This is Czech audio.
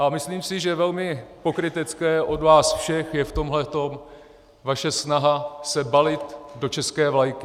A myslím si, že velmi pokrytecké od vás všech je v tomhle vaše snaha se balit do české vlajky.